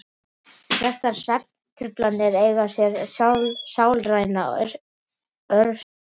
Flestar svefntruflanir eiga sér sálræna orsök.